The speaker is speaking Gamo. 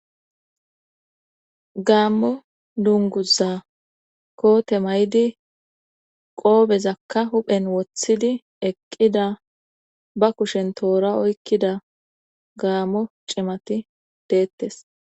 gaammo dunguza koote may7di qoobezakka huphen woththidi eqqida ba kushen toora oykkida gaammo cimati deettes